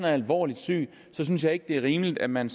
er alvorligt syg synes jeg ikke det er rimeligt at man